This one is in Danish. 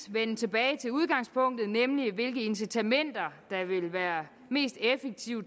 vende tilbage til udgangspunktet nemlig hvilke incitamenter der vil være mest effektive